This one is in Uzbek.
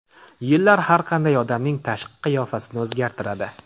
Yillar har qanday odamning tashqi qiyofasini o‘zgartiradi.